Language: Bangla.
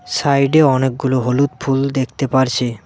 সাইডে অনেকগুলো হলুদ ফুল দেখতে পারছি।